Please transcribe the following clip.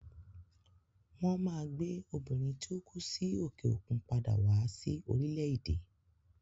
Won Maa gbe Obìnrin tí ó kú sí òkè òkun padà wá sí orílẹ̀ èdè